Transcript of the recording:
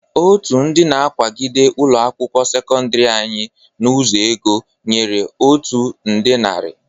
Otu ndị na-akwagide ụlọ akwụkwọ sekọndịrị anyị n'ụzo ego nyere anyị otu nde narị.